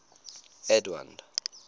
edwind